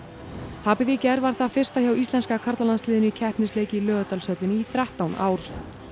tapið í gær var það fyrsta hjá íslenska karlalandsliðinu í í Laugardalshöllinni í þrettán ár